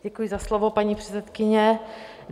Děkuji za slovo, pane předsedkyně.